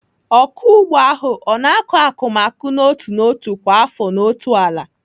Ọkụ ugbo ahụ ọ na-akọ akụmakụ n'otu n'otu kwa afọ n'otu ala?